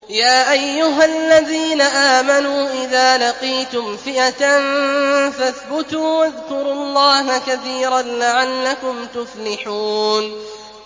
يَا أَيُّهَا الَّذِينَ آمَنُوا إِذَا لَقِيتُمْ فِئَةً فَاثْبُتُوا وَاذْكُرُوا اللَّهَ كَثِيرًا لَّعَلَّكُمْ تُفْلِحُونَ